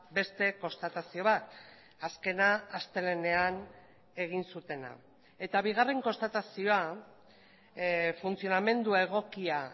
beste konstatazio bat azkena astelehenean egin zutena eta bigarren konstatazioa funtzionamendu egokia